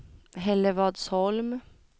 Hällevadsholm